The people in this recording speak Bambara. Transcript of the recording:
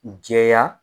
Jɛya